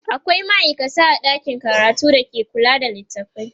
akwia maaikata a ɗakin karatu da ke kula da littatafai